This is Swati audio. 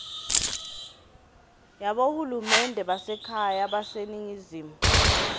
yabohulumende basekhaya baseningizimu